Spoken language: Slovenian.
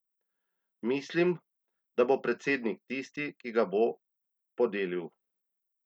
Mislim, da bo predsednik tisti, ki ga bo podelil.